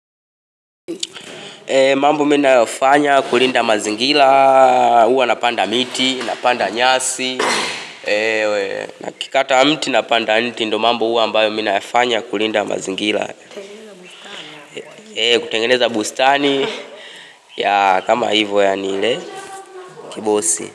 Mambo mimi ninayofanya kulinda mazingira, huwa napanda miti, napanda nyasi Nakikata mti napanda mti ndio mambo huwa ambayo mi nayafanya kulinda mazingira kutengeneza bustani kama hivyo yaani ile kibosi.